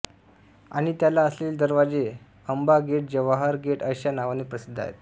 आणि त्याला असलेले दरवाजे अंबा गेट जवाहर गेट अशा नावाने प्रसिद्ध आहेत